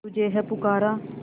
तुझे है पुकारा